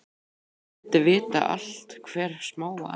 Hún vildi vita allt, hvert smáatriði.